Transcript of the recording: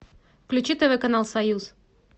включи тв канал союз